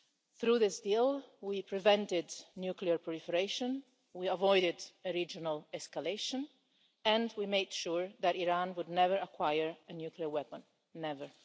Through this deal we prevented nuclear proliferation, we avoided a regional escalation and we made sure that Iran would never acquire a nuclear weapon ever.